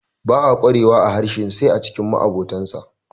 ba a kwarewa a harshen sai a cikin ma abotansa